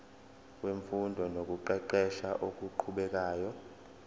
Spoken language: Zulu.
wemfundo nokuqeqesha okuqhubekayo